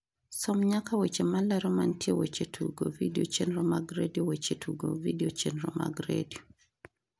som nyaka weche malero mantie weche tugo vidio chenro mag redio weche tugo vidio chenro mag redio